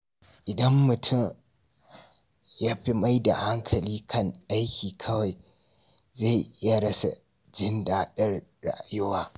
Idan mutum ya fi maida hankali kan aiki kawai, zai iya rasa jin daɗin rayuwa.